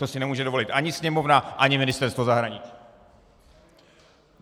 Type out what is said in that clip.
To si nemůže dovolit ani Sněmovna, ani Ministerstvo zahraničí!